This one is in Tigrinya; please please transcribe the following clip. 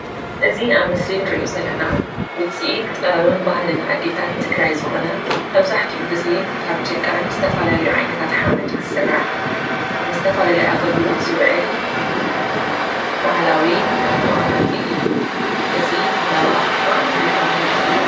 እዚ ኣብ ምስሊ ንሪኦ ውፅኢት ጥበብን ባህልን ኣዴታት ትግራይ ዝኾነ መብዛሕትኡ ግዜ ካብ ጭቃን ዝተፈላለዩ ዓይነታት ሓመድን ዝስራሕ ንዝተፈላለዩ ኣገልግሎት ዝውዕል ባህላዊ መቐመጢ እዩ፡፡ እዚ ባህላዊ ኣቕሓ እንታይ ተባሂሉ ይፍለጥ?